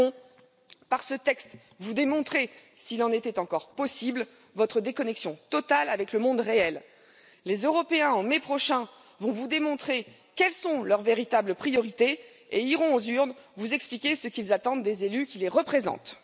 Macron, par ce texte, vous démontrez s'il en était encore possible, votre déconnexion totale avec le monde réel. Les Européens, en mai prochain, vont vous démontrer quelles sont leurs véritables priorités et iront aux urnes vous expliquer ce qu'ils attendent des élus qui les représentent.